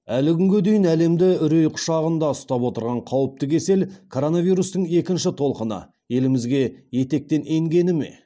әлі күнге дейін әлемді үрей құшағында ұстап отырған қауіпті кесел коронавирустың екінші толқыны елімізге етектен енгені ме